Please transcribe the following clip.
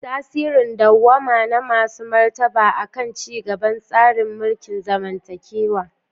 Tasirin dawwama na masu martaba a kan ci gaban tsarin mulkin zamantakewa.